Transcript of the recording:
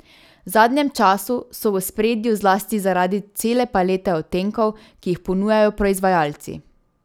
V zadnjem času so v ospredju zlasti zaradi cele palete odtenkov, ki jih ponujajo proizvajalci.